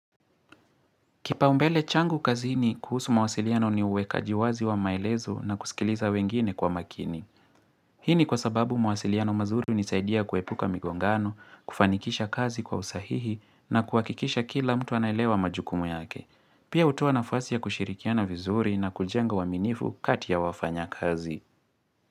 Kipaumbele changu kazini kuhusu mawasiliano ni uwekaji wazi wa maelezo na kusikiliza wengine kwa makini. Hini kwa sababu mawasiliano mazuri hunisaidia kuepuka migongano, kufanikisha kazi kwa usahihi na kuakikisha kila mtu anaelewa majukumu yake. Pia hutoa nafasi ya kushirikiana vizuri na kujenga uaminifu kati ya wafanyakazi.